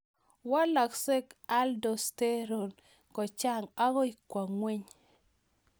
Walaksei Aldosterone kochang' akoi kwa ng'weny